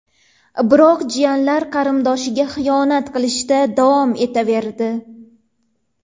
Biroq jiyanlar qarindoshiga xiyonat qilishda davom etaverdi.